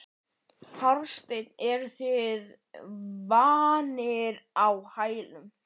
Hafsteinn: Eruð þið vanir á hælum?